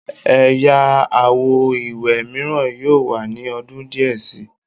Ẹ̀ya àwo ìwẹ̀ míràn yóò wà ní ọdún díẹ̀ si.